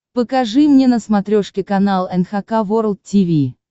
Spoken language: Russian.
покажи мне на смотрешке канал эн эйч кей волд ти ви